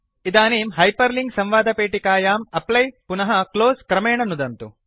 इदानीं हाइपरलिंक संवादपेटिकायां एप्ली पुनः क्लोज़ क्रमेण नुदन्तु